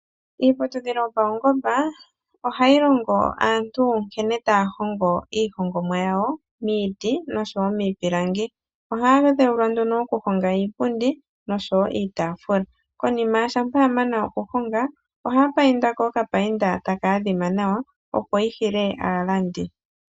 Iiputudhilo yopaungomba ohayi longo aantu nkene taya hongo iihongomwa yawo miiti noshowo miipilangi. Ohaya dheulwa nduno okuhonga iipundi noshowo iitaafula. Konima shampa ya mana okuhonga ohaya painda ko okapainda taka adhima nawa opo yi hile aalandi.